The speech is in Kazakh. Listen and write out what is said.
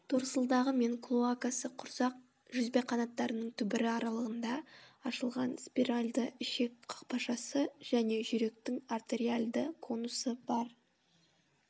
торсылдағы мен клоакасы құрсақ жүзбеқанаттарының түбірі аралығында ашылған спиральды ішек қақпашасы және жүректің артериальды конусы бар